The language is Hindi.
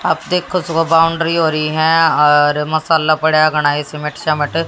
आप देखो सुबह बाउंड्री हो रही है और मसाला पड़ा गणेश